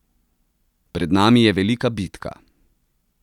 Pred nami je velika bitka.